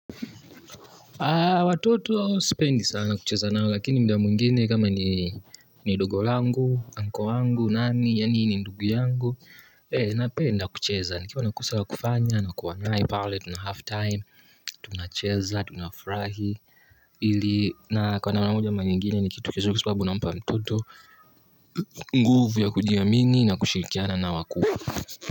Watoto sipendi sana kucheza nao lakini muda mwingine kama ni ni dogo langu, anko wangu, nani, yani ni ndugu yangu. Eh napenda kucheza, nikiwa nakosa la kufanya na kuwa naye pale tuna half time, tunacheza, tunafurahi. Ili na kwa namna moja ama nyingine ni kitu cha uzuri kwa sibabu nampa mtoto nguvu ya kujiamini na kushirikiana na wakuu.